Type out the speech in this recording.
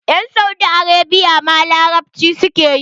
Yan Saudi Arabia ma larabci suke yi.